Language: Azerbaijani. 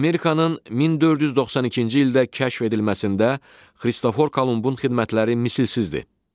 Amerikanın 1492-ci ildə kəşf edilməsində Xristofor Kolumbun xidmətləri misilsizdir.